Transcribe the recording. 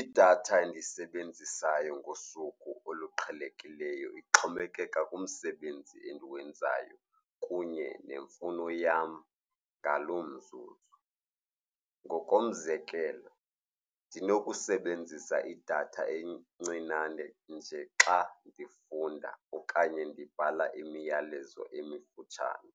Idatha endiyisebenzisayo ngosuku oluqhelekileyo ixhomekeka kumsebenzi endiwenzayo kunye nemfuno yam ngaloo mzuzu. Ngokomzekelo, ndinokusebenzisa idatha encinane nje xa ndifunda okanye ndibhala imiyalezo emifutshane